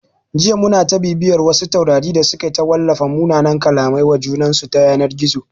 Jiya muna ta bibiyan wasu taurari da suke ta wallafa munanan kallamai wa junansu ta yanar gizo